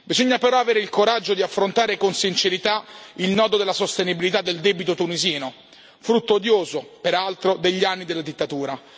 Bisogna però avere il coraggio di affrontare con sincerità il nodo della sostenibilità del debito tunisino, frutto odioso peraltro degli anni della dittatura.